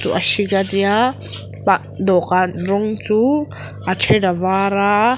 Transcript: a hring ania tah dawhkan rawng chu a then a var a.